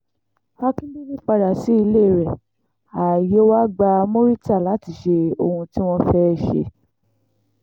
akíndélé padà sí ilé rẹ ààyè wàá gba murità láti ṣe ohun tí wọ́n fẹ́ẹ́ ṣe